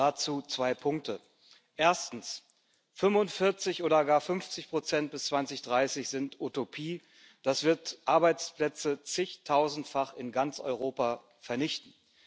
Dazu zwei Punkte Erstens 45 oder gar 50 bis 2030 sind Utopie. Das wird Arbeitsplätze zigtausendfach in ganz Europa vernichten.